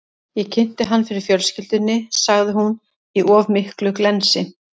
Ég kynnti hann fyrir fjölskyldunni, sagði hún, í of miklu glensi.